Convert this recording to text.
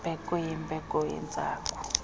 mbeko yimbeko yentsangu